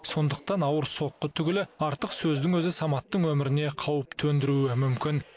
сондықтан ауыр соққы түгілі артық сөздің өзі саматтың өміріне қауіп төндіруі мүмкін